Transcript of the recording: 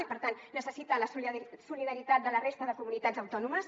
i per tant necessita la solidaritat de la resta de comunitats autònomes